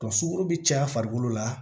sukaro be caya farikolo la